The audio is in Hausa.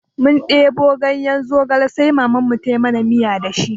Mun ɗebo ganye zogale sai Mamanmu ta yi mana miya da shi.